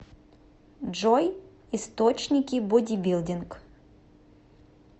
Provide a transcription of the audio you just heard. джой источники бодибилдинг